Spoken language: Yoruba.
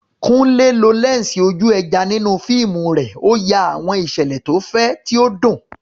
Kunle lo lẹ́ńsì ojú ẹja nínú fíìmù rẹ̀, ó ya àwọn ìṣẹ̀lẹ̀ tó fẹ̀, tí ó dùn.